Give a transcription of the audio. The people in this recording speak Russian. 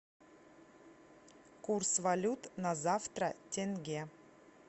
курс валют на завтра тенге